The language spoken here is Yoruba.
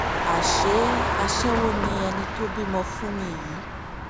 àṣé aṣẹ́wó ni ẹni tó bímọ fún mi yìí